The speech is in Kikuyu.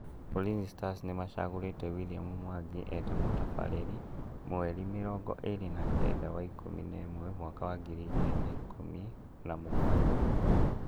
Ulinzi Stars nĩmacagũrite William Mwangi eta mũtabarĩri mweri mĩrongo ĩrĩ na keda wa ikũmi na ĩmwe mwaka wa ngiri igĩri na ikũmi na mũgwanja